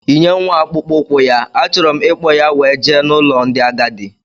Yinye nwa akpụkpọ ukwu ya, a chọrọ m ikpo ya wee jee n' ụlọ ndị agadi!!!